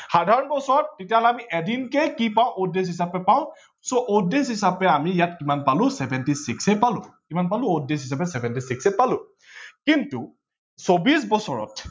জানুৱাৰী মাহত কেইদিন আছে পতাপত কোনে জানা হাতত comment ত লিখক পতাপত। জানুৱাৰী মাহত কেইদিন আছে comment ত লিখক জানুৱাৰী মাহত কিমান দিন আছে